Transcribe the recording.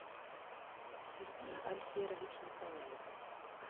сергей альферович николаев